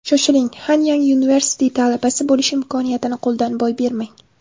Shoshiling, Hanyang University talabasi bo‘lish imkoniyatini qo‘ldan boy bermang!